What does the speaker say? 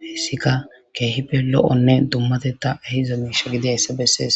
hayisi kehippe loi'o dumatetha ehida misha gidoyisa besesi